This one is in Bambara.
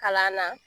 Kalan na